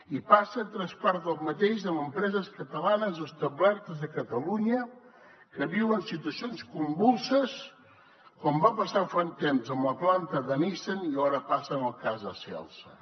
i passa tres quarts del mateix amb empreses catalanes establertes a catalunya que viuen situacions convulses com va passar fa un temps amb la planta de nissan i ara passa en el cas de celsa